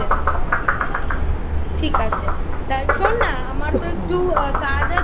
ঠিক আছে তা শোন না আমার একটু কাজ আছে